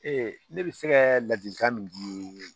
ne bɛ se kɛ ladilikan min di